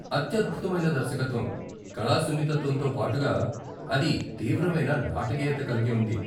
అత్యద్భుతమైన దర్శకత్వం, కళా సున్నితత్వంతో పాటుగా అది తీవ్రమైన నాటకీయత కలిగి ఉంది.